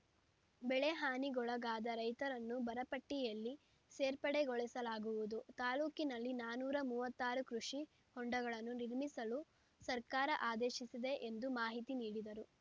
ಬೆಳೆಹಾನಿಗೊಳಗಾದ ರೈತರನ್ನು ಬರಪಟ್ಟಿಯಲ್ಲಿ ಸೇರ್ಪಡೆಗೊಳಿಸಲಾಗುವುದು ತಾಲೂಕಿನಲ್ಲಿ ನಾನೂರ ಮೂವತ್ತಾರು ಕೃಷಿ ಹೊಂಡಗಳನ್ನು ನಿರ್ಮಿಸಲು ಸರ್ಕಾರ ಆದೇಶಿಸಿದೆ ಎಂದು ಮಾಹಿತಿ ನೀಡಿದರು